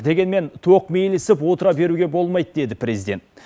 дегенмен тоқмейілсіп отыра беруге болмайды деді президент